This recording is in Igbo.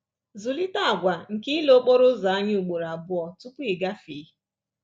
Zụlite àgwà nke ile okporo ụzọ anya ugboro abụọ tupu ị gafee